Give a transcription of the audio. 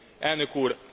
Elnök úr!